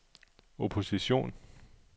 opposition